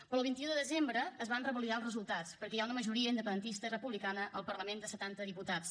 però el vint un de desembre es van revalidar els resultats perquè hi ha una majoria independentista i republicana al parlament de setanta diputats